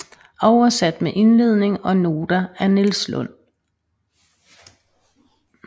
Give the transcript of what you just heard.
Oversat med indledning og noter af Niels Lund